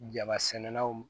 Jaba sɛnɛnaw